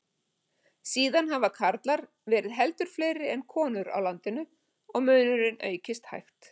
Síðan hafa karlar verið heldur fleiri en konur á landinu og munurinn aukist hægt.